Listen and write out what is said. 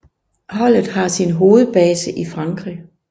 Holdet har sin hovedbase i Frankrig